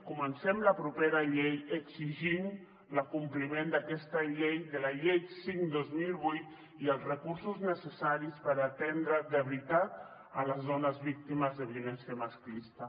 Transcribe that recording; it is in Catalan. comencem la propera exigint l’acompliment d’aquesta llei de la llei cinc dos mil vuit i els recursos necessaris per atendre de veritat les dones víctimes de violència masclista